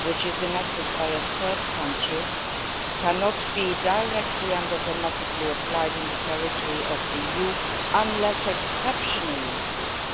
which is enacted by a third country cannot be directly and automatically applied in the territory of the EU unless exceptionally